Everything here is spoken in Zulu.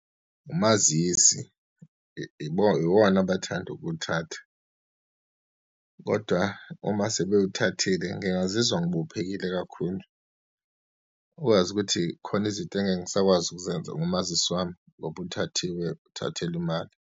Umazisi iwona abathanda ukuwuthatha, kodwa uma sebewuthathile ngingazizwa ngibophekile kakhulu ukwazi ukuthi khona izinto engeke ngisakwazi ukuzenza ngomazisi wami, ngoba uthathiwe uthathelwa imali.